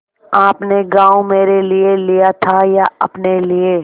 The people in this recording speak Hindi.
आपने गॉँव मेरे लिये लिया था या अपने लिए